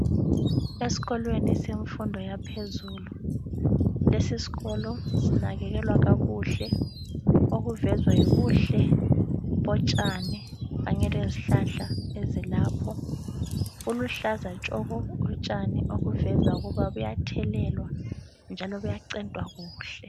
Eskolweni semfundo yaphezulu, lesiskolo sinakekelwa kakuhle. Okuvezwa yibuhle botshani kanye lezihlahla ezilapho. Buluhlaza tshoko utshani okuveza ukuba buyathelelwa njalo buyacentwa kuhle.